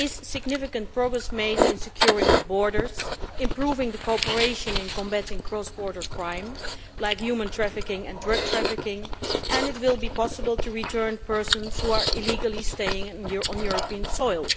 Significant progress has been made in securing the borders and improving cooperation in combating cross border crime like human trafficking and drug trafficking and it will be possible to return persons who are illegally staying on European soil.